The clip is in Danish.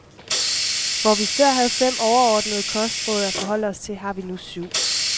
Hvor vi før havde fem overordnede kostråd at forholde os til, har vi nu syv.